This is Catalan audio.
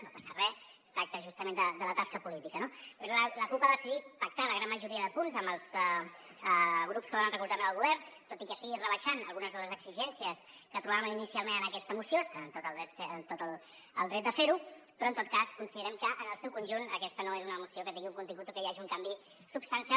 no passa re es tracta justament de la tasca política no la cup ha decidit pactar la gran majoria de punts amb els grups que donen recolzament al govern tot i que sigui rebaixant algunes de les exigències que portaven inicialment en aquesta moció estan en tot el dret de fer ho però en tot cas considerem que en el seu conjunt aquesta no és una moció que tingui un contingut o que hi hagi un canvi substancial